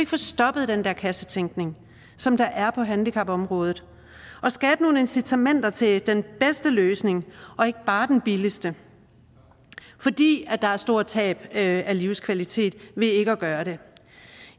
få stoppet den der kassetænkning som der er på handicapområdet og skabe nogle incitamenter til den bedste løsning og ikke bare den billigste fordi der er stort tab af livskvalitet ved ikke at gøre det